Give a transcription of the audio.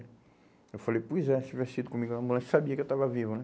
Eu falei, pois é, se tivesse ido comigo na ambulância, sabia que eu estava vivo, né.